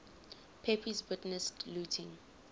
pepys witnessed looting